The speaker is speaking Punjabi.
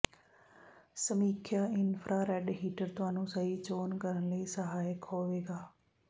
ਸਮੀਖਿਆ ਇਨਫਰਾਰੈੱਡ ਹੀਟਰ ਤੁਹਾਨੂੰ ਸਹੀ ਚੋਣ ਕਰਨ ਲਈ ਸਹਾਇਕ ਹੋਵੇਗਾ